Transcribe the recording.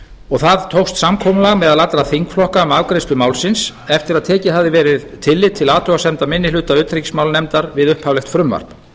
og það tókst samkomulag meðal allra þingflokka um afgreiðslu málsins eftir að tekið hafði verið tillit til athugasemda minni hluta utanríkismálanefndar við upphaflegt frumvarp